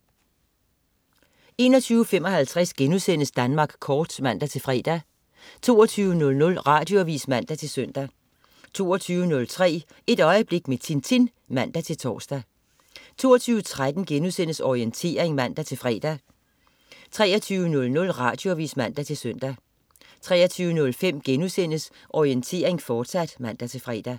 21.55 Danmark Kort* (man-fre) 22.00 Radioavis (man-søn) 22.03 Et øjeblik med Tintin (man-tors) 22.13 Orientering* (man-fre) 23.00 Radioavis (man-søn) 23.05 Orientering, fortsat* (man-fre)